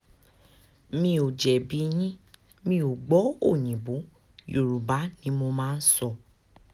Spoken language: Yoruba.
mi o jẹbi yin, mi o gbọ oyinbo, yoruba ni mo maa n sọ